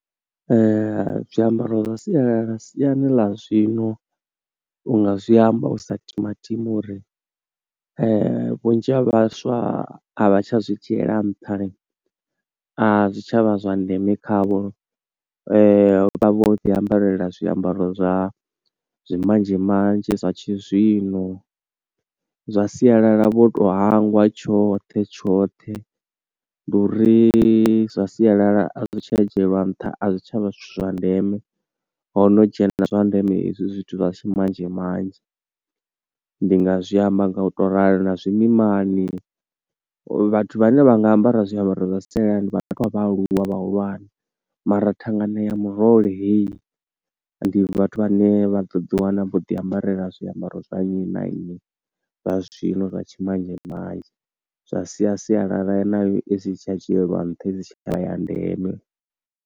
Zwiambaro zwa sialala siani ḽa zwino unga zwi amba u sa timatima uri vhunzhi ha vhaswa a vha tsha zwi dzhiela ntha lini, a zwi tshavha zwa ndeme khavho vha vha vho ḓi ambarela zwiambaro zwa zwi manzhi manzhi, zwa tshizwino. Zwa sialala vho to hangwa tshoṱhe tshoṱhe, ndi uri zwa sialala a zwi tsha dzhieliwa nṱha, a zwi tshavha zwithu zwa ndeme, ho no dzhena zwa ndeme hezwi zwithu zwa tshi manzhe manzhe. Ndi nga zwiamba nga u to ralo na zwimimani, vhathu vhane vha nga ambara zwiambaro zwa sialala, ndi vhathu vha vha aluwa vhahulwane, mara thangana ya murole heyi ndi vhathu vhane vha ḓo ḓi wana vho ḓi ambarela zwiambaro zwa nnyi na nnyi, zwa zwino zwa tshi manzhe manzhe. Zwa sia sialala nayo i si tsha dzhieliwa nṱha, i si tsha vha ya ndeme.